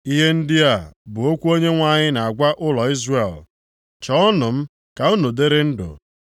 Ihe ndị a bụ okwu Onyenwe anyị na-agwa ụlọ Izrel, “Chọọnụ m, ka unu dịrị ndụ.